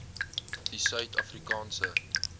die suid afrikaanse